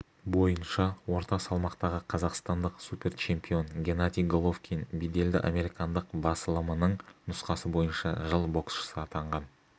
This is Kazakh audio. бойынша орта салмақтағы қазақстандық суперчемпион геннадий головкин беделді американдық басылымының нұсқасы бойынша жыл боксшысы атанған